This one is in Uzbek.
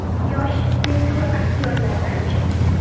Yosh, tengqur aktyorlardan-chi?